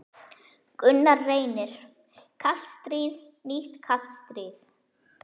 Gunnar Reynir: Kalt stríð, nýtt kalt stríð?